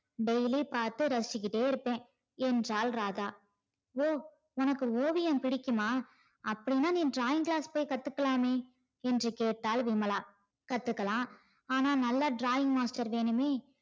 daily பாத்து ரசிச்சிட்டே இருப்பா என்றால் ராதா உம் உனக்கு ஓவியம் புடிக்குமா அப்டினா நீ drawing class போய் கத்துக்கலாமே என்று கேட்டால் விமலா கத்துக்கா ஆனா நல்ல drawing master வேணுமே